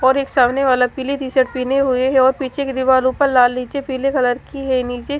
और एक सामने वाला पीली टी शर्ट पिने हुए है और पीछे की दीवारों पर लाल नीचे पीले कलर की है नीचे --